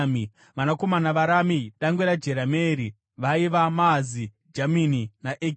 Vanakomana vaRamu dangwe raJerameeri vaiva: Maazi, Jamini naEkeri.